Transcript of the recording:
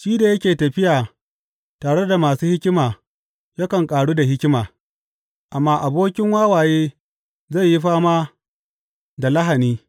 Shi da yake tafiya tare da masu hikima yakan ƙaru da hikima, amma abokin wawaye zai yi fama da lahani.